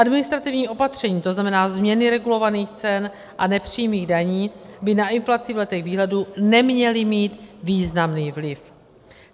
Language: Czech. Administrativní opatření, to znamená, změny regulovaných cen a nepřímých daní, by na inflaci v letech výhledu neměla mít významný vliv.